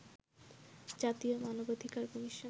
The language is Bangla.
জাতীয় মানবাধিকার কমিশন